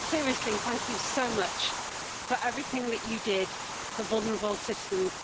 But seriously, thank you so much for everything that you did for vulnerable citizens.